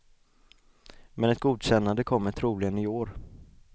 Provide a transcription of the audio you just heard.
Men ett godkännande kommer troligen i år.